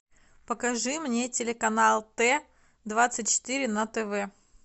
покажи мне телеканал т двадцать четыре на тв